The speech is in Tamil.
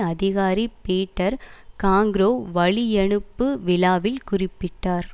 அதிகாரி பீட்டர் காங்கிரோ வழியனுப்பு விழாவில் குறிப்பிட்டார்